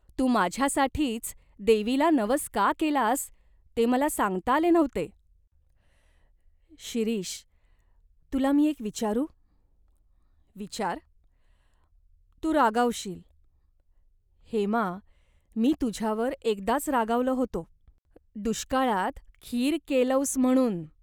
तू माझ्यासाठीच देवीला नवस का केलास ते मला सांगता आले नव्हते." "शिरीष, तुला मी एक विचारू ?"" विचार." "तू रागावशील." "हेमा, मी तुझ्यावर एकदाच रागावलो होतो. दुष्काळात खीर केलोस म्हणून.